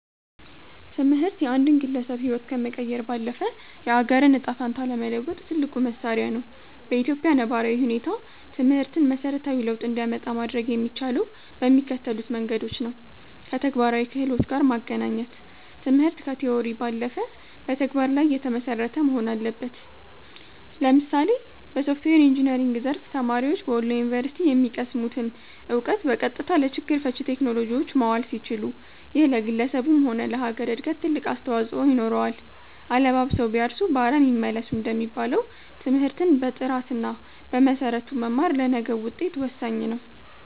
ትምህርት የአንድን ግለሰብ ህይወት ከመቀየር ባለፈ፣ የአገርን ዕጣ ፈንታ ለመለወጥ ትልቁ መሣሪያ ነው። በኢትዮጵያ ነባራዊ ሁኔታ ትምህርትን መሠረታዊ ለውጥ እንዲያመጣ ማድረግ የሚቻለው በሚከተሉት መንገዶች ነውከተግባራዊ ክህሎት ጋር ማገናኘት ትምህርት ከቲዎሪ ባለፈ በተግባር ላይ የተመሰረተ መሆን አለበት። ለምሳሌ በሶፍትዌር ኢንጂነሪንግ ዘርፍ፣ ተማሪዎች በወሎ ዩኒቨርሲቲ የሚቀስሙትን እውቀት በቀጥታ ለችግር ፈቺ ቴክኖሎጂዎች ማዋል ሲችሉ፣ ይሄ ለግለሰቡም ሆነ ለሀገር እድገት ትልቅ አስተዋፅኦ ይኖረዋል። "አለባብሰው ቢያርሱ በአረም ይመለሱ" እንደሚባለው፣ ትምህርትን በጥራትና በመሰረቱ መማር ለነገው ውጤት ወሳኝ ነው።